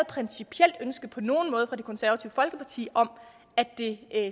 principielt ønske på nogen måde fra det konservative folkeparti om at det